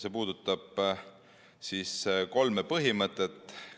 See puudutab kolme põhimõtet.